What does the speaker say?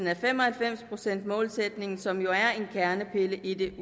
af fem og halvfems procents målsætningen som jo er en kernepille i det